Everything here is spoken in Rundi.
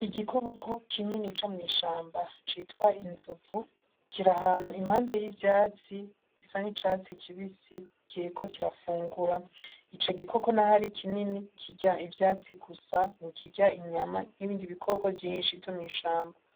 Igikoko kinini co mwi shamba citwa inzovu kiri ahantu impande y'ivyatsi bisa n' icatsi kibisi Kiriko kirafungura, ico gikoko naho ari kinini kirya ivyatsi gusa ntikirya inyama nk'ibindi bikoko vyinshi vyo mwi shamba.